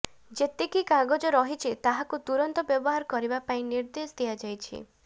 ଯେତିକି କାଗଜ ରହିଛି ତାହାକୁ ତୁରନ୍ତ ବ୍ୟବହାର କରିବା ପାଇଁ ନିର୍ଦ୍ଦେଶ ଦିଆଯାଇଛି